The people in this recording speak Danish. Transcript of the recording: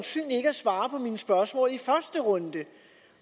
svare på mine spørgsmål i første runde